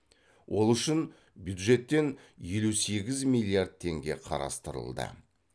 ол үшін бюджеттен елу сегіз миллиард теңге қарастырылды